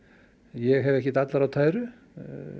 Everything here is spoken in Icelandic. ég hef ekkert allar á tæru